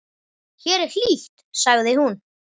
Hér er hlýtt, sagði hún.